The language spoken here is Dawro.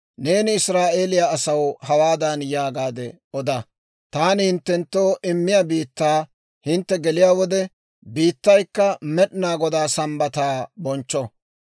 «Neeni Israa'eeliyaa asaw hawaadan yaagaade oda; ‹Taani hinttenttoo immiyaa biittaa hintte geliyaa wode, biittaykka Med'inaa Godaa Sambbataa bonchcho.